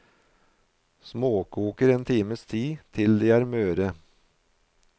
Småkoker en times tid til de er møre.